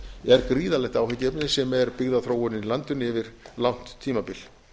er gríðarlegt áhyggjuefni sem er byggðaþróunin í landinu yfir langt tímabil